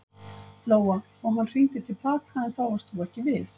Lóa: Og hann hringdi til baka en þá varst þú ekki við?